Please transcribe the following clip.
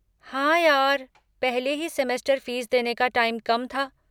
हाँ यार, पहले ही सेमेस्टर फ़ीस देने का टाइम कम था।